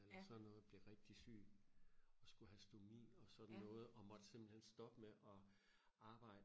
eller sådan noget blev rigtig syg og skulle have stomi og sådan noget og måtte simpelthen stoppe med og arbejde